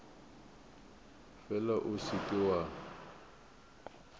fela o se ke wa